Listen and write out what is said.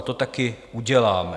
A to také uděláme.